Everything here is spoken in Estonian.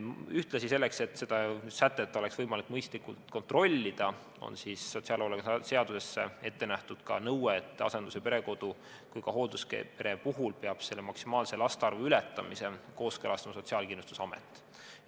Ühtlasi selleks, et seda sätet oleks võimalik mõistlikult kontrollida, on sotsiaalhoolekande seaduses ette nähtud ka nõue, et asendus- ja perekodu, samuti hoolduspere puhul peab maksimaalse laste arvu ületamise kooskõlastama Sotsiaalkindlustusamet.